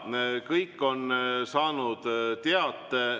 Jaa, kõik on saanud teate.